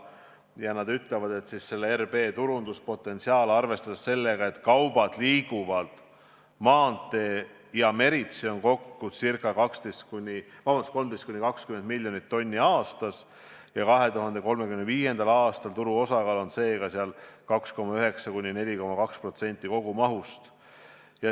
Samuti on selles analüüsis öeldud, et RB turunduspotentsiaal – arvestades seda, et kaubad liiguvad maanteel ja meritsi – on kokku ca 13–20 miljonit tonni aastas ning 2035. aastal on turu osakaal seega 2,9–4,2% kogumahust.